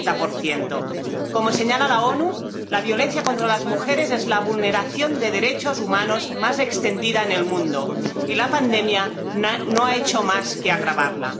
60 Como señalan las Naciones Unidas, la violencia contra las mujeres es la vulneración de derechos humanos más extendida en el mundo, y la pandemia no ha hecho más que agravarla.